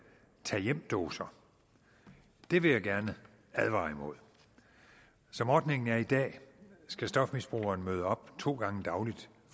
tag hjem doser det vil jeg gerne advare imod som ordningen er i dag skal stofmisbrugeren møde op to gange dagligt